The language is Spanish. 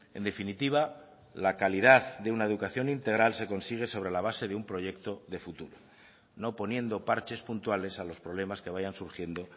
en definitiva la calidad de una educación integral se consigue sobre la base de un proyecto de futuro no poniendo parches puntuales a los problemas que vayan surgiendo